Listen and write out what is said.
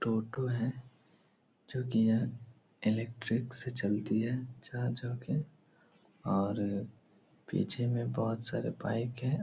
टोटो है जो की इलेक्ट्रिक से चलती है चार्ज होके और अ पीछे में बोहोत सारे बाइक हैं।